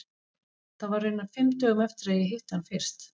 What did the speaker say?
Það var raunar fimm dögum eftir að ég hitti hann fyrst.